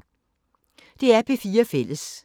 DR P4 Fælles